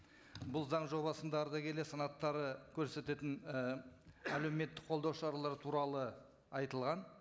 бұл заң жобасында ардагерлер санаттары көрсететін і әлеуметтік қолдау шаралары туралы айтылған